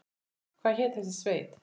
Hvað hét þessi sveit?